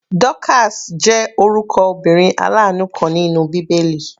Dorcas jẹ́ orúkọ obìnrin alanu kan nínú bíbélì.